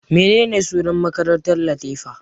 Menene sunan makarantar Latifa?